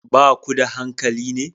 Ba ku da dankali ne?